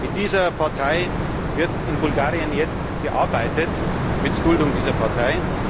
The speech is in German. Mit dieser Partei wird in Bulgarien jetzt gearbeitet, mit Duldung dieser Partei.